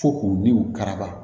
Fo k'o ni karama